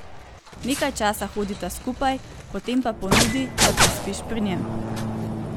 Nekaj časa hodita skupaj, potem pa ponudi, da prespiš pri njem.